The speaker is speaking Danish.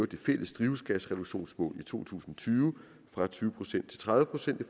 det fælles drivhusgasreduktionsmål i to tusind og tyve fra tyve procent til tredive procent i